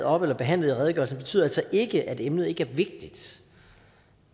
op eller behandlet i redegørelsen betyder altså ikke at emnet ikke er vigtigt